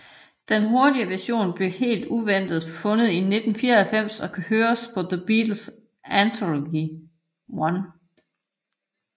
Denne hurtigere version blev helt uventet fundet i 1994 og kan høres på The Beatles Anthology 1